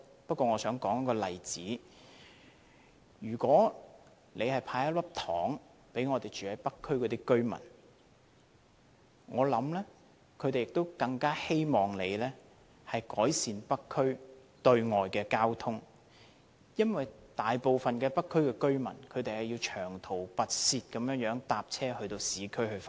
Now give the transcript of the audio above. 不過，我想舉一個例子，如果政府"派一粒糖"給北區的居民，我想他們更希望政府能改善北區對外的交通，因為大部分北區居民都要長途跋涉乘車往市區上班。